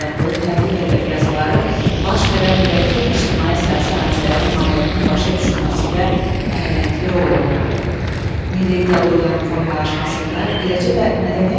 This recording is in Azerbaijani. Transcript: Milli ideologiyanın formalaşmasında, eləcə də mədəniyyət və ədəbiyyatla bağlı dəyərli fikirlərin yayılmasında Məhəmmədəmin Rəsulzadənin redaktorluğu ilə dərc olunan Açıq söz qəzetinin əvəzsiz xidməti vardı.